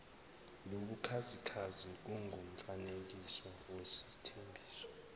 nobukhazikhazi kungumfanekiso wesethembiso